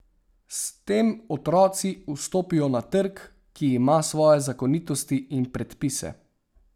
S tem otroci vstopijo na trg, ki ima svoje zakonitosti in predpise.